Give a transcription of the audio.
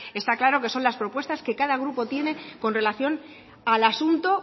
está claro que son las propuestas que cada grupo tienen con relación al asunto